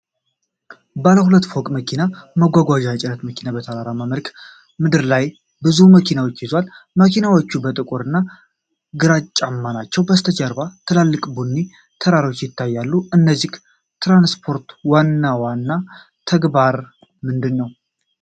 ባለ ሁለት ፎቅ መኪና ማጓጓዣ የጭነት መኪና በተራራማ መልክዓ ምድር ላይ ብዙ መኪኖችን ይዟል። መኪኖቹ ጥቁር እና ግራጫማ ናቸው። ከበስተጀርባ ትላልቅ ቡኒ ተራሮች ይታያሉ። የዚህ ትራንስፖርት ዋና ተግባር ምንድን ነው?